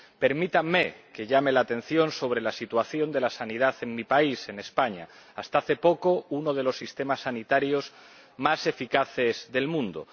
Permítanme que señale a la atención la situación de la sanidad en mi país, en España, hasta hace poco, uno de los sistemas sanitarios más eficaces del mundo.